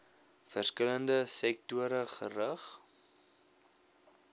verskillende sektore gerig